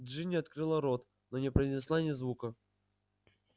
джинни открыла рот но не произнесла ни звука